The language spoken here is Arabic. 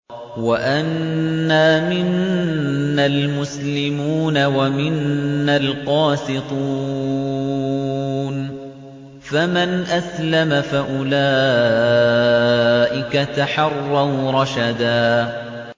وَأَنَّا مِنَّا الْمُسْلِمُونَ وَمِنَّا الْقَاسِطُونَ ۖ فَمَنْ أَسْلَمَ فَأُولَٰئِكَ تَحَرَّوْا رَشَدًا